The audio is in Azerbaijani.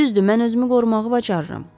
Düzdür, mən özümü qorumağı bacarıram.